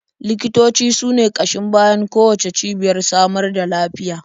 Likitoci su ne ƙashin bayan kowacce cibiyar samar da lafiya.